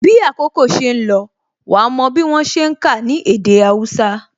Bí àkókò ṣe ń lọ, wa mò bí wọ́n ṣe ń ka ní èdè Hausa